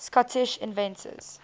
scottish inventors